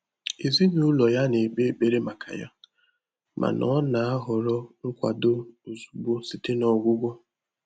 Èzínụ́lọ́ yá nà-ékpé ékpèré màkà yá, mà nà ọ́ nà-àhọ́rọ́ nkwàdò ózùgbó sìté nà ọ́gwụ́gwọ́.